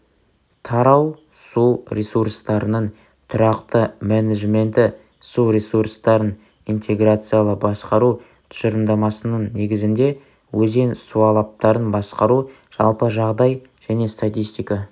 тарау су ресурстарының тұрақты менеджменті су ресурстарын интеграциялы басқару тұжырымдамасының негізінде өзен суалаптарын басқару жалпы жағдай және статистика